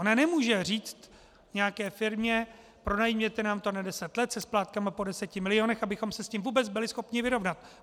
Ona nemůže říct nějaké firmě: pronajměte nám to na deset let se splátkami po deseti milionech, abychom se s tím vůbec byli schopni vyrovnat.